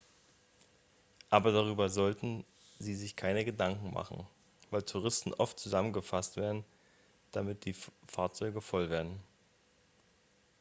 aber darüber sollten sie sich keine gedanken machen weil touristen oft zusammengefasst werden damit die fahrzeuge voll werden